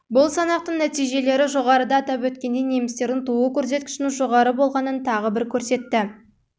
бұл санақтың нәтижелері жоғарыда атап өткендей немістердің туу көрсеткішінің жоғары болғанын тағы бір көрсетті